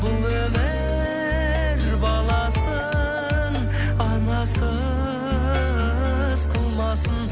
бұл өмір баласын анасыз қылмасын